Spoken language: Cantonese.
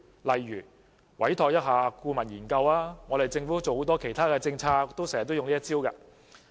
例如，委託顧問研究，這是政府推行很多其他政策經常使用的方法。